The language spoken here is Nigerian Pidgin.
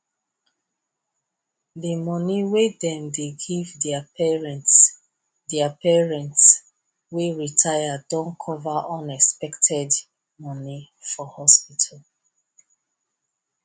the money wey them dey give their parents their parents wey retire don cover unexpected money for hospital